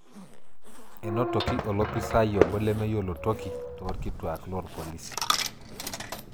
Enotoki olopisaai obo lemeyiolo toki torkituak loorpolisi.